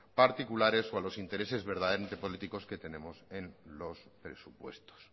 particulares o a los intereses verdaderamente políticos que tenemos en los presupuestos